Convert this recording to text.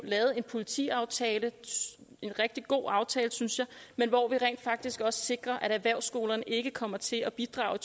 lavet en politiaftale en rigtig god aftale synes jeg hvor vi rent faktisk også sikrer at erhvervsskolerne ikke kommer til at bidrage